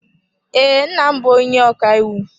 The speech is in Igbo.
Ee, nna m bụ onye ọkàiwu.